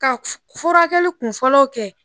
Ka furakɛli kun fɔlɔw kɛ